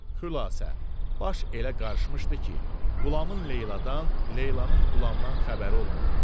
Xülasə, baş elə qarışmışdı ki, Qulamın Leyladan, Leylanın Qulamdan xəbəri olmurdu.